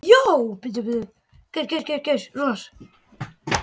Þau bara taka ekki eftir þessu.